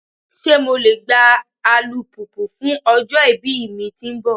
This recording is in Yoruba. Ṣe MO le gba alupupu fun ọjọ-ibi mi ti nbọ?